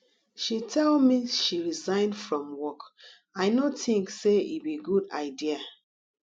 she tell me she resign from work i no think say e be good idea